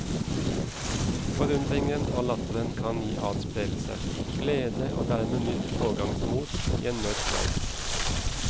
Forundringen og latteren kan gi adspredelse, glede og dermed nytt pågangsmot i en mørk verden.